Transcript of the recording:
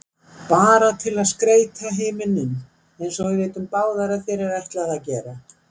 Bara til að skreyta himininn einsog við vitum báðar að þér er ætlað að gera.